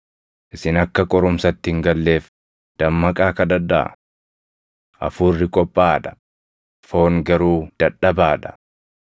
Isin akka qorumsatti hin galleef dammaqaa kadhadhaa. Hafuurri qophaaʼaa dha; foon garuu dadhabaa dha.”